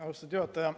Austatud juhataja!